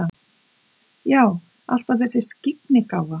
Já, alltaf þessi skyggnigáfa.